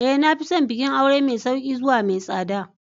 Ee. Na fi son bikin aure mai sauƙi zuwa mai tsada.